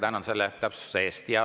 Väga tänan selle täpsustuse eest.